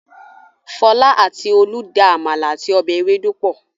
Fọl àti Olú da àmàlà àti ọbẹ̀ ewédú pọ̀.